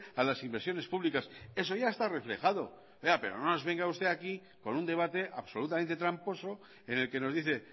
a las inversiones públicas eso ya está reflejado pero no nos venga usted aquí con un debate absolutamente tramposo en el que nos dice